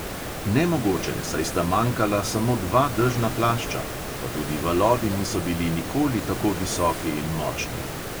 Nemogoče, saj sta manjkala samo dva dežna plašča, pa tudi valovi niso bili nikoli tako visoki in močni.